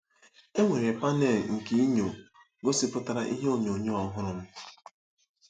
Enwere pane nke enyo gosipụtara ihe onyonyo ọhụrụ m.